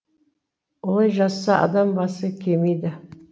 олай жасаса адам басы кемиді